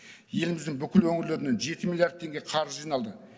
еліміздің бүкіл өңірлерінен жеті миллиард теңге қаржы жиналды